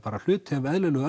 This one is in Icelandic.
hluti af eðlilegu